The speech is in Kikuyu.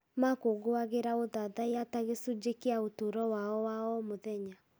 Makũũngũagĩra ũthathaiya ta gĩcunjĩ kĩa ũtũũro wao wa o mũthenya.